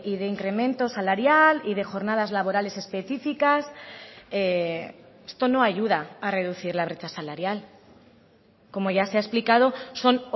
de incremento salarial y de jornadas laborales específicas esto no ayuda a reducir la brecha salarial como ya se ha explicado son